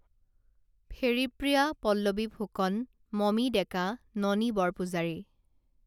Pheripriya Pallavi Phukan Mami Deka Noni Borpujari